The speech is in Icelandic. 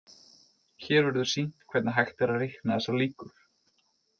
Hér verður sýnt hvernig hægt er að reikna þessar líkur.